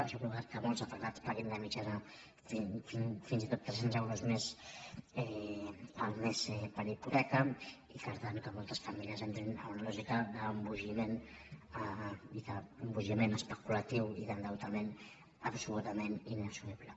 això ha provocat que molts afectats paguin de mitjana fins i tot tres·cents euros més el mes per hipoteca i per tant que moltes famílies entrin en una lògica d’embogiment i d’embogiment especulatiu i d’endeutament absolutament inassumible